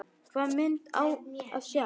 Hvaða mynd á að sjá?